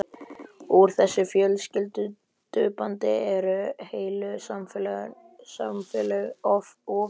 Úr þessu fjölskyldubandi eru heilu samfélögin ofin.